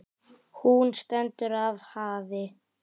Hún stendur af hafi.